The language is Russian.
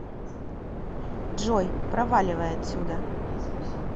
джой проваливай отсюда